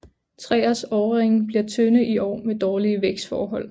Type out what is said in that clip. Træers årringe bliver tynde i år med dårlige vækstforhold